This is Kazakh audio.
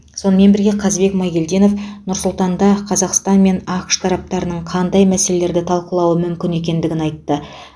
сонымен бірге қазбек майгелдинов нұр сұлтанда қазақстан мен ақш тараптарының қандай мәселелерді талқылауы мүмкін екендігін айтты